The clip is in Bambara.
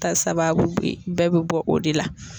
Ta sababu bɛɛ bɛ bɔ o de la.